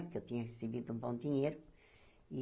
Porque eu tinha recebido um bom dinheiro.